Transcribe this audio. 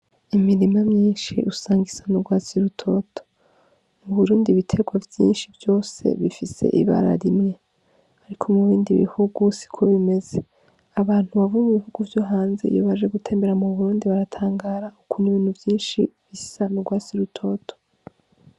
Imirima mwinshi usanga isa n'ugwatsi rutoto, mu Burundi ibitegwa vyinshi vyose bifise ibara rimwe, ariko mu bindi bihugu siko bimeze, abantu baba mu bihugu vyo hanze iyo baje gutembera mu Burundi baratangara ukuntu ibintu vyinshi bisa n'ugwatsi rutoto.